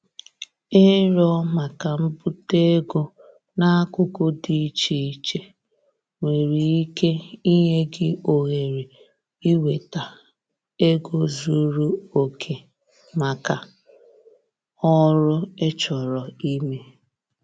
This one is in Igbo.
Ịrịọ maka mbute ego n'akụkụ dị iche iche nwere ike inye gị ohere inweta ego zuru oke maka oru ị chọrọ ime.